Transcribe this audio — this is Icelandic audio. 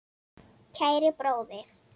Kæri bróðir!